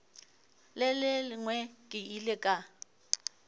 le lengwe ke ile ka